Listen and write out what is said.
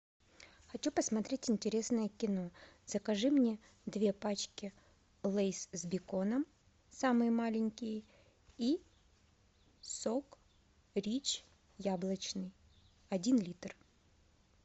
хочу посмотреть интересное кино закажи мне две пачки лейс с беконом самые маленькие и сок рич яблочный один литр